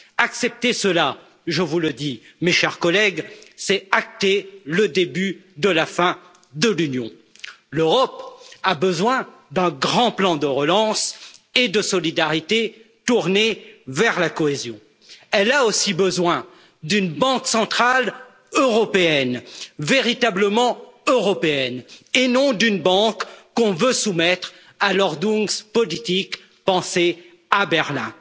Accepter cela, je vous le dis, mes chers collègues, c'est acter le début de la fin de l'Union. L'Europe a besoin d'un grand plan de relance et de solidarité tourné vers la cohésion. Elle a aussi besoin d'une banque centrale européenne, véritablement européenne, et non d'une banque qu'on veut soumettre à l' Ordnungspolitik pensée à Berlin.